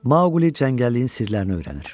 Mauli cəngəlliyin sirlərini öyrənir.